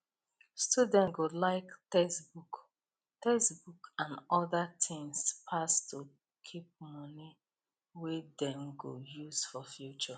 student go like textbook textbook and other tins pass to keep money wey dem go use for future